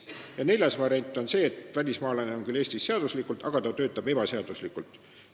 Ja neljas variant on see, et välismaalane on küll Eestis seaduslikult, aga töötab siin ebaseaduslikult.